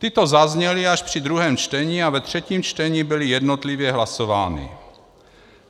Tyto zazněly až při druhém čtení a ve třetím čtení byly jednotlivě hlasovány.